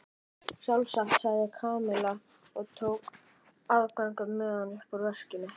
Sjálfsagt sagði Kamilla og tók aðgöngumiðann upp úr veskinu.